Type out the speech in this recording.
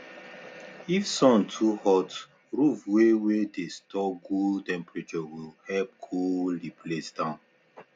if sun too hot roof wey wey dey store good temprature go help cool the place down